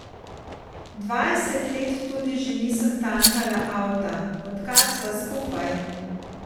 Dvajset let tudi že nisem tankala avta, odkar sva skupaj.